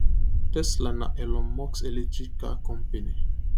tesla na elon musk electric car company